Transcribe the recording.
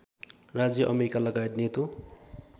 राज्य अमेरिकालगायत नेटो